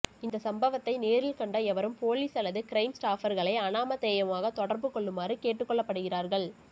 இந்த சம்பவத்தை நேரில் கண்ட எவரும் பொலிஸ் அல்லது க்ரைம் ஸ்டாப்பர்களை அநாமதேயமாக தொடர்பு கொள்ளுமாறு கேட்டுக்கொள்ளப்படுகிறார்கள்